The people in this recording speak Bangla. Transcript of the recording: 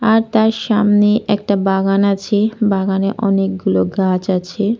আর তার সামনে একটা বাগান আছে। বাগানে অনেকগুলো গাছ আছে।